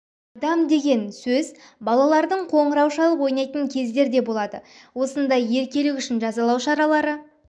адам деген сөз балалардың қоңырау шалып ойнайтын кездер де болады осындай еркелік үшін жазалау шаралары